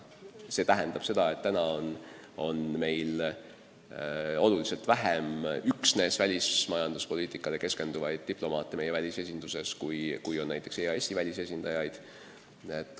See tähendab seda, et praegu on meil välisesindustes üksnes välismajanduspoliitikale keskendunud diplomaate märksa vähem, kui on näiteks EAS-i välisesindajaid.